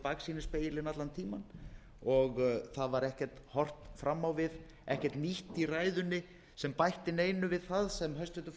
baksýnisspegilinn allan tímann og það var ekkert horft fram á við ekkert nýtt í ræðunni sem bætti neinu við það sem hæstvirtur